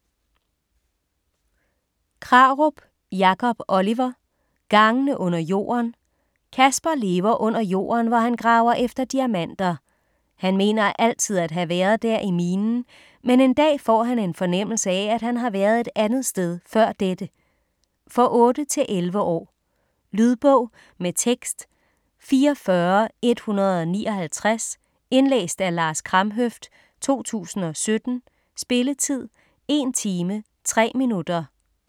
Krarup, Jacob Oliver: Gangene under jorden Casper lever under jorden, hvor han graver efter diamanter. Han mener altid at have været der i minen, men en dag får han en fornemmelse af, at han har været et andet sted før dette. For 8-11 år. Lydbog med tekst 44159 Indlæst af Lars Kramhøft, 2017. Spilletid: 1 time, 3 minutter.